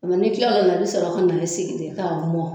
O la ni kila lo la, i bɛ sɔrɔ ka na i sigi ni ka mɔn.